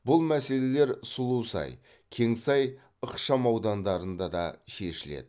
бұл мәселелер сұлусай кеңсай ықшамаудандарында да шешіледі